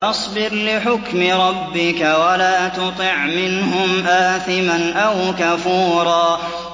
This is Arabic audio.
فَاصْبِرْ لِحُكْمِ رَبِّكَ وَلَا تُطِعْ مِنْهُمْ آثِمًا أَوْ كَفُورًا